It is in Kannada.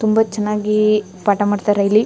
ತುಂಬಾ ಚನ್ನಾಗಿ ಪಾಠ ಮಾಡತ್ತರೆ ಇಲ್ಲಿ.